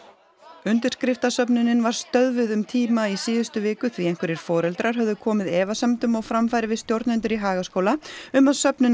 undirskriftasöfnunin var stöðvuð um tíma í síðustu viku því einhverjir foreldrar höfðu komið efasemdum á framfæri við stjórnendur í Hagaskóla um að söfnunin